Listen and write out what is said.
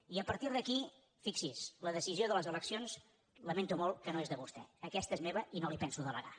i a partir d’aquí fixi’s la decisió de les eleccions lamento molt que no és de vostè aquesta és meva i no la hi penso delegar